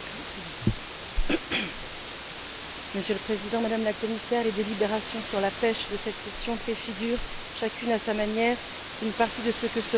Monsieur le Président, Madame la Commissaire, les délibérations sur la pêche de cette session préfigurent, chacune à sa manière, une partie de ce que sera l'édifice de la future politique commune de la pêche.